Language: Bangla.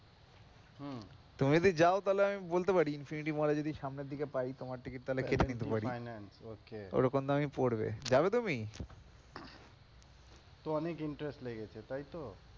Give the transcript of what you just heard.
হম তুমি যদি যাও তাহলে আমি বলতে পারি infinity mall এ যদি সামনের দিকে পাই তোমার ticket তাহলে কেটে নিতে পারি ওরকম দামই পড়বে, যাবে তুমি? তো অনেক interest লেগেছে তাই তো? হম